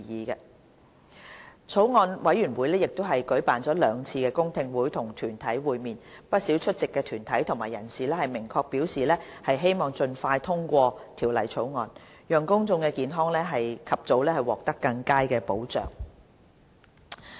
法案委員會亦舉辦了兩次公聽會與團體會面，不少出席的團體和人士明確表示希望盡快通過《條例草案》，讓公眾健康及早獲得更佳保障。